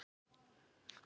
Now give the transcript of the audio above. Ég upplifi það þannig.